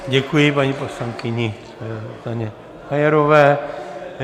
Děkuji paní poslankyni Zuzaně Majerové.